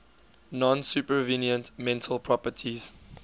non supervenient mental properties